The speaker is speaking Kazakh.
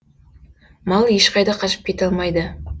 мал ешқайда қашып кете алмайды